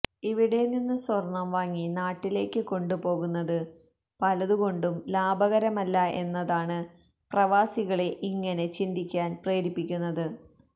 ഇവിടെ നിന്ന് സ്വര്ണ്ണം വാങ്ങി നാട്ടിലേക്ക് കൊണ്ട് പോകുന്നത് പലതു കൊണ്ടും ലാഭകരമല്ല എന്നതാണ് പ്രവാസികളെ ഇങ്ങനെ ചിന്തിക്കാന് പ്രേരിപ്പിക്കുന്നത്